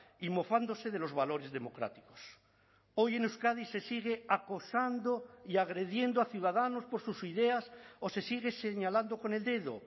y mofándose de los valores democráticos hoy en euskadi se sigue acosando y agrediendo a ciudadanos por sus ideas o se sigue señalando con el dedo